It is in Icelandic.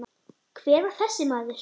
Hver var þessi maður?